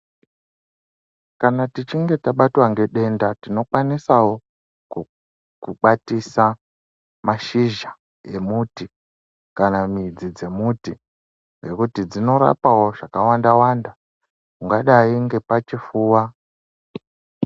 Kana tichinge tabatwa ngedenda tinokwanisawo ku kukwatisa mashizha emuti kana midzi dzemuti ngekuti dzinorapawo zvakawanda-wanda ungadai ngepachifuwa.